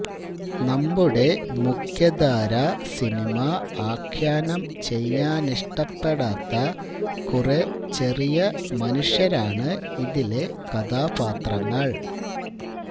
നമ്മുടെ മുഖ്യധാരാ സിനിമ ആഖ്യാനം ചെയ്യാനിഷ്ടപ്പെടാത്ത കുറെ ചെറിയ മനുഷ്യരാണ് ഇതിലെ കഥാപാത്രങ്ങള്